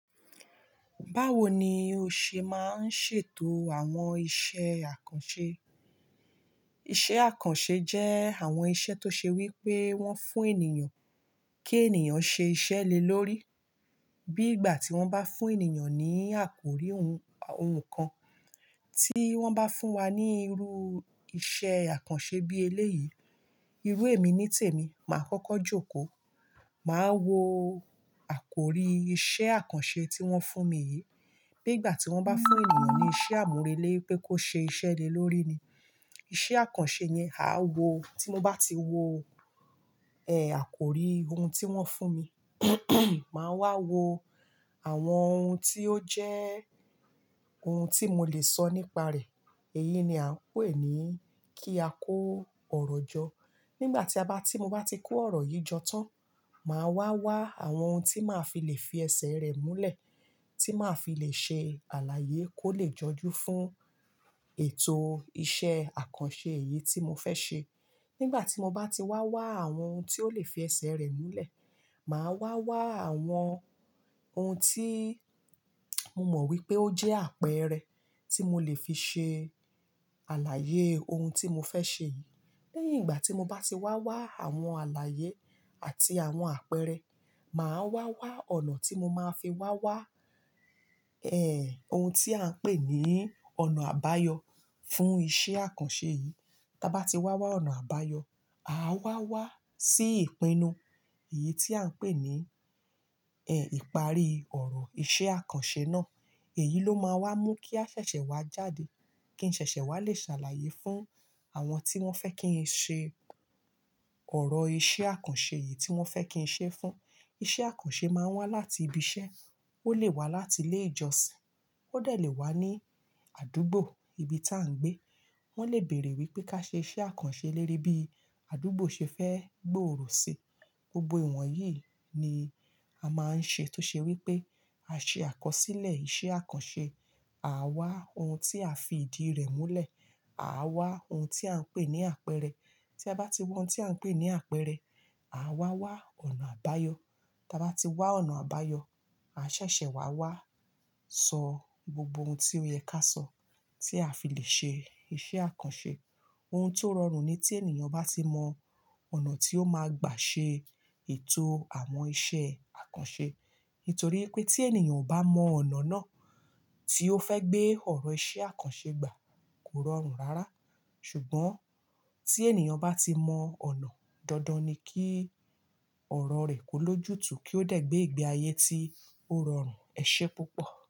Báwo ni o ṣe máa ń ṣètò àwọn iṣẹ́ àkànṣe? Iṣẹ́ àkànṣe jẹ́ àwọn iṣẹ́ tó ṣe wí pé wọ́n fún ènìyàn kí ènìyàn ṣe iṣẹ́ lè lórí. Bí ìgbà tí wọ́n bá fún ènìyàn ní àkórí ohun kan, tí wọ́n bá fún wa ní irú iṣẹ́ àkànṣe bí eléyìí, irú èmi nítèmi, màá kọ́kọ́ jókòó. Màá wo àkórí iṣẹ́ àkànṣe tí wọ́n fún mi yìí. Bí ìgbà tí wọ́n bá fún ènìyàn ní iṣẹ́ àmúrelé pé kó ṣe iṣẹ́ lè lórí ni. Iṣẹ́ àkànṣe yẹn, àá wo tí mo bá ti wo àkórí ohun tí wọ́n fún mi. Màá wá wo àwọn ohun tí ó jẹ́ ohun tí mo lè sọ nípa rẹ̀. Èyí ni à ń pè ní kí a kó ọ̀rọ̀ jọ. Nígbà tí a bá, tí mo bá ti kó ọ̀rọ̀ yìí jọ tán, màá wá wá àwọn ohun tí màá fi lè fi ẹsẹ̀ rẹ̀ múlẹ̀, tí màá fi lè ṣe àlàyé kó lè jọjú fún ètò iṣẹ́ àkànṣe yìí tí mo fẹ́ ṣe. Nígbà tí mo bá ti wá wá àwọn ohun tí ó lè fi ẹsẹ̀ rẹ̀ múlẹ̀, màá wá wá àwọn ohun tí mo mọ̀ wípé ó jẹ́ àpẹẹrẹ tí mo lè fi ṣe àlàyé ohun tí mo fẹ́ ṣe yìí. Lẹ́yìn ìgbà tí mo bá ti wá wá àwọn àlàyé àti àwọn àpẹẹrẹ, màá wá wá ọ̀nà tí mo máa fi wá wá, ohun tí à ń pè ní ọ̀nà àbáyọ fún iṣẹ́ àkànṣe yìí. Tía bá ti wá wá ọ̀nà àbáyọ, àá wá wá sí ìpinnu. Èyí tí à ń pè ní, ẹ, ìparí ọ̀rọ̀ iṣẹ́ àkànṣe náà. Èyí ló máa wá mú kí a ṣẹ̀ṣẹ̀ wá jáde, kí n ṣẹ̀ṣẹ̀ wá lè ṣàlàyé fún àwọn tí wọ́n fẹ́ kí n ṣe ọ̀rọ̀ iṣẹ́ àkànṣe yìí tí wọ́n fẹ́ kí n ṣe fún. Iṣẹ́ àkànṣe máa ń wá láti ibi iṣẹ́, ó lè wá láti ilé ìjọsìn, ó dẹ̀ lè wá ní àdúgbò, ibi tí à ń gbé. Wọ́n lè bèèrè wípé ká ṣe iṣẹ́ àkànṣe lérí bí àdúgbò ṣe fẹ́ gbòòrò ṣi. Gbogbo ìwọ̀n yìí ni a máa ń ṣe tó ṣe wí pé a ṣe àkọsílẹ̀ iṣẹ́ àkànṣe. À wá ohun tí a fi ìdí rẹ̀ múlẹ̀, à wá ohun tí à ń pè ní àpẹẹrẹ. Tí a bá ti wo ohun tí à ń pè ní àpẹẹrẹ, à wá wá ọ̀nà àbáyọ. Tí a bá ti wá ọ̀nà àbáyọ, a ṣẹ̀ṣẹ̀ wá wá sọ gbogbo ohun tí ó yẹ ká sọ tí a fi lè ṣe iṣẹ́ àkànṣe. Ohun tó rọrùn ni tí ènìyàn bá ti mọ ọ̀nà tí ó máa gbà ṣe ètò àwọn iṣẹ́ àkànṣe. Nítorí pé tí ènìyàn ò bá mọ ọ̀nà náà tí ó fẹ́ gbé ọ̀rọ̀ iṣẹ́ àkànṣe gbà, kò rọrùn rárá. Ṣùgbọ́n tí ènìyàn bá ti mọ ọ̀nà, dandan ni kí ọ̀rọ̀ rẹ̀ kó ló jù tu kíó dẹ̀ gbé ìgbé ayé tí ó rọrùn. Ẹ ṣé púpọ̀.